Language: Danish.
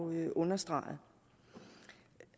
understreget